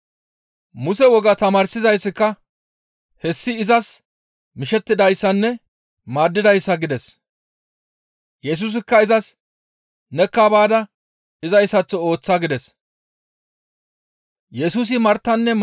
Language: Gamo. Muse wogaa tamaarsizayssika, «Hessi izas ne mishettidayssanne maaddidayssa!» gides. Yesusikka izas, «Nekka baada izayssaththo ooththa» gides.